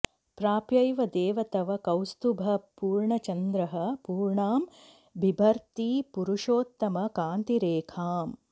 प्राप्यैव देव तव कौस्तुभपूर्णचन्द्रः पूर्णां बिभर्ति पुरुषोत्तम कान्तिरेखाम्